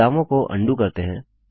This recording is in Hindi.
बदलावों को अन्डू करते हैं